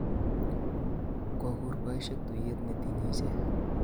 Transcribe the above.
Kokur boisiek tuyet netinyi ichek